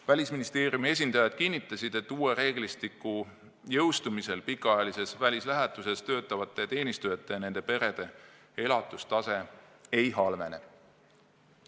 Välisministeeriumi esindajad kinnitasid, et uue reeglistiku jõustumisel pikaajalises välislähetuses töötavate teenistujate ja nende perede elatustase ei halvene.